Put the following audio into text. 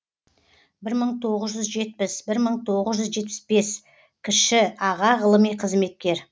бір мың тоғыз жүз жетпіс бір мың тоғыз жүз жетпіс бес кіші аға ғылыми қызметкер